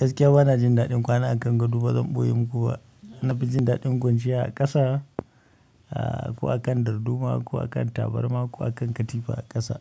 Gaskiya bana jin daɗin kwana akan gado ba, bazan ɓoye muku ba. Na fi jin daɗin kwanciya a ƙasa, a ko akan darduma ko akan tabarma ko akan katifa a ƙasa.